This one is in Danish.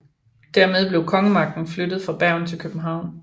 Dermed blev kongemagten flyttet fra Bergen til København